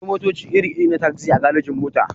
Akwai motaci iri-iri na tagzi a garejin-mota.